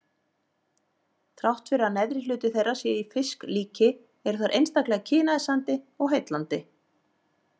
Þrátt fyrir að neðri hluti þeirra sé í fisklíki eru þær einstaklega kynæsandi og heillandi.